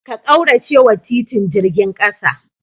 Ka kauracewa titin jirgin kasa.